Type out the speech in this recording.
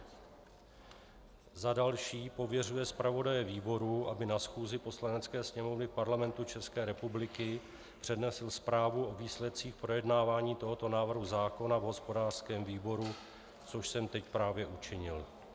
Za další pověřuje zpravodaje výboru, aby na schůzi Poslanecké sněmovny Parlamentu České republiky přednesl zprávu o výsledcích projednávání tohoto návrhu zákona v hospodářském výboru, což jsem teď právě učinil.